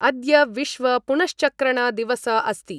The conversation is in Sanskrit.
अद्य विश्व पुनश्चक्रण दिवस अस्ति।